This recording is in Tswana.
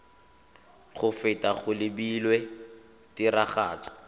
go feta go lebilwe tiragatso